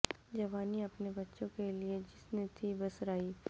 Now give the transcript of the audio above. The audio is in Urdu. جوانی اپنے بچوں کے لئے جس نے تھی بسرائی